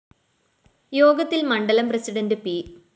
യോഗത്തില്‍ മണ്ഡലം president P